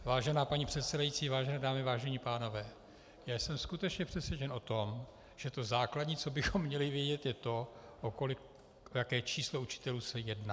Vážená paní předsedající, vážené dámy, vážení pánové, já jsem skutečně přesvědčen o tom, že to základní, co bychom měli vědět, je to, o jaké číslo učitelů se jedná.